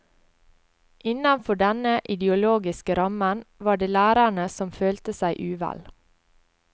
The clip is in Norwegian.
Innenfor denne ideologiske rammen var det lærere som følte seg uvel.